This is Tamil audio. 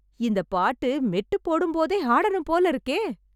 இந்த பாட்டு மெட்டு போடும் போதே ஆடனும் போல இருக்கே